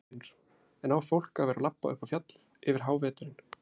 Magnús Hlynur: En á fólk að vera labba upp á fjallið yfir háveturinn?